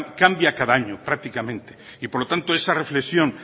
cambia cada año prácticamente y por lo tanto esa reflexión